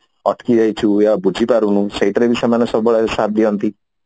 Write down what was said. ଅଟକି ଯାଇଛୁ ୟା ବୁଝି ପାରୁନୁ ସେଇଟା ରେ ବି ସମାନେ ସବୁବେଳେ ସାତ୍ ଦିଅନ୍ତି